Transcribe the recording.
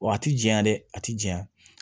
Wa a ti janya dɛ a ti janɲa